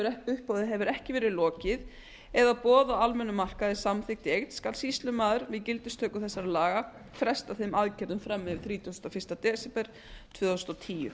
en uppboði hefur ekki leið lokið eða boð á almennum markaði samþykkt skal sýslumaður við gildistöku þessara laga fresta þeim aðgerðum fram yfir þrítugasta og fyrsta desember tvö þúsund og tíu